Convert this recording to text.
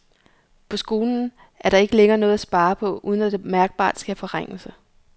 På skolen er der ikke længere noget at spare på, uden at der meget mærkbart sker forringelser.